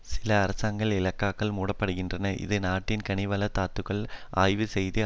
சில அரசாங்க இலாக்காக்கள் மூடப்படுகின்றன இதில் நாட்டின் கனிவள தாதுக்களை ஆய்வு செய்து